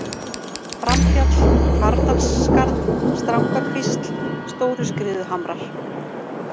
Framfjall, Hvarfdalsskarð, Strangakvísl, Stóruskriðuhamrar